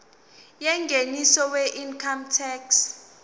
yengeniso weincome tax